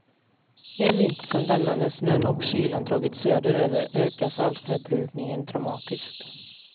En vinter som denna, när snön och kylan dragit söderöver, ökar saltförbrukningen dramatiskt.